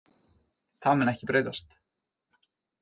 Það mun ekki breytast.